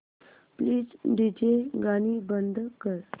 please DJ गाणी बंद कर